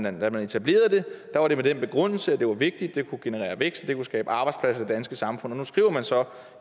og da man etablerede den var det med den begrundelse at det var vigtigt det kunne generere vækst og skabe arbejdspladser i det danske samfund nu skriver man så